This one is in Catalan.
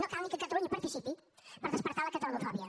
no cal ni que catalunya hi participi per despertar la catalanofòbia